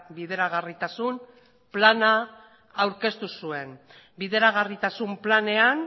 bideragarritasun plana aurkeztu zuen bideragarritasun planean